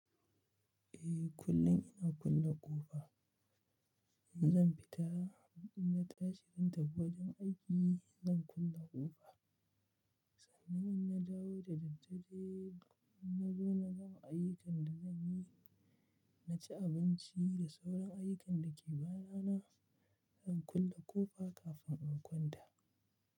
Eh, kullum ina kulle ƙofa. In zan fita, idan na tashi zan tafi wajen aiki, zan kulle ƙofa. Sannan in na dawo da daddare, in na zo na gama ayyukan da zan yi, na ci abinci da sauran ayyukan da ke bana na, zan kulle ƙofa kafin in kwanta.